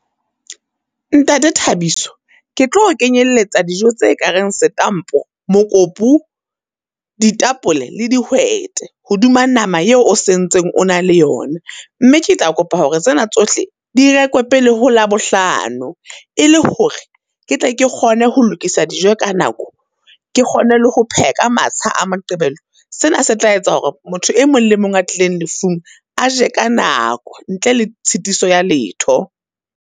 Ntate Thabiso, ke tlo o kenyeletsa dijo tse ka reng setampa, mokopu, ditapole le dihwete, hoduma nama eo o sentseng o na le yona. Mme ke tla kopa hore tsena tsohle di rekwe pele ho Labohlano, e le hore ke tle ke kgone ho lokisa dijo ka nako, ke kgone le ho pheha ka matsha a Moqebelo. Sena se tla etsa hore motho e mong le mong a tlileng lefung, aje ka nako ntle le tshitiso ya letho.